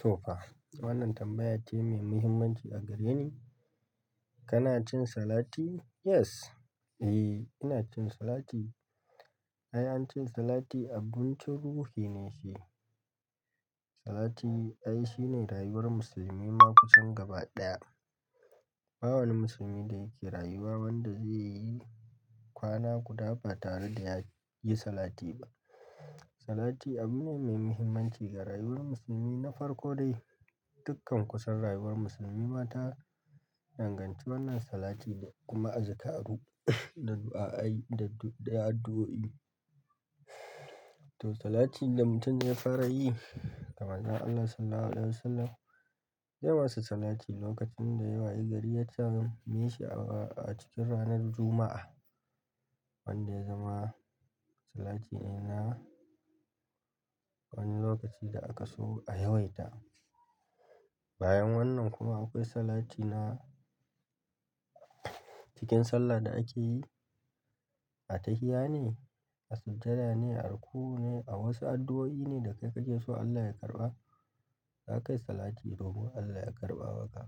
To fa, wannan tambaya ce mai muhimmanci a gare ni. Kana cin salati? Yes. Eh, ina cin salati. Ai, an ce salati abun cin ruhi ne shi. Salati, ai, shine rayuwar musulmi ma kusan gaba ɗaya. Ba wani musulmi da yake rayuwa wanda zai yi kwana guda ba tare da ya yi salati ba. Salati abu ne mai muhimmanci ga rayuwar musulmi na farko dai dukkan kusan rayuwar musulmi ma ta danganci wannan salati da kuma azikaru da du'a'ai da, da addu'o'i. To salati da mutum zai fara yi ga manzon Allah Sallallahu Alaihi Wasallam yawaita salati lokacin da ya wayi gari ya tamimi shi a cikin ranar Juma'a. Wanda ya zama salati ne na wani lokaci da aka so a yawaita. Bayan wannan kuma akwai salati na cikin sallah da ake yi a tahiya ne a sujjada ne a ruku'u ne a wasu adu'oi ne da kake so Allah ya karɓa, zaka yi salati domin Allah ya karɓa maka.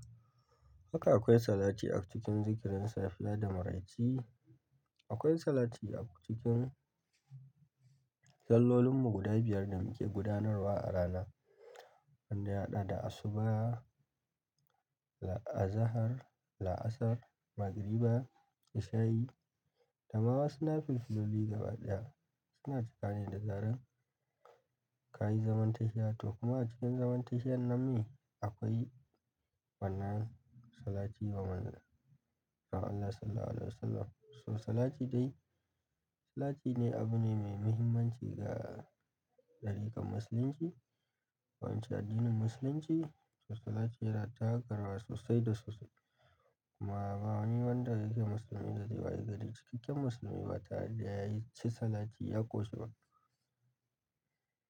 Haka akwai salati a cikin zikirin safiya da maraice. Akwai salati a cikin sallolinmu guda biyar da muke gudanarwa a rana. Wanda ya haɗa da asuba, la-- a zahar, la'asar, magriba, isha'i, da ma wasu nafilfiluli gaba ɗaya. Suna cikane da zarar ka yi zaman tahiya to kuma a cikin zaman tahiyan nan ne akwai wannan salati wa manzan Allah Sallallahu Alaihi Wasallam. So salati dai, salati ne abu ne mai muhimmanci ga darikan musulunci. Ko in ce addinin musulunci to salati yana taka rawa sosai da sosai. Kuma ba wani wanda yake musulmi da zai waye gari cikakken musulmi ba tare da ya ci salati ya ƙoshi ba.